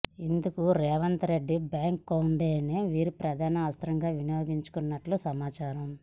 ఇందుకు రేవంత్ రెడ్డి బ్యాక్గ్రౌండ్నే వీరు ప్రధాన అస్త్రంగా వినియోగించుకున్నట్లు సమాచారం